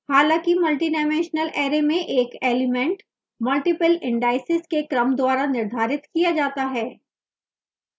हालाँकि multidimensional array में एक element multiple indices के क्रम द्वारा निर्धारित किया जाता है